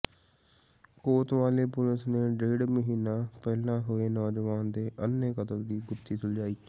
ਕੋਤਵਾਲੀ police ਨੇ ਡੇਢ ਮਹੀਨਾ ਪਹਿਲਾਂ ਹੋਏ ਨੌਜਵਾਨ ਦੇ ਅੰਨ੍ਹੇ ਕਤਲ ਦੀ ਗੁੱਥੀ ਸੁਲਝਾਈ